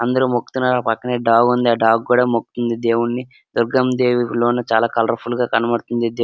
అందరూ మొక్కుతున్నారు ఆ పక్కనే డాగ్ ఉంది ఆ డాగ్ కూడా మొక్కుతుంది దేవుణ్ణి దుర్గమ్మ దేవి లోన చాలా కలర్ఫుల్ గా కనబడుతుంది దే --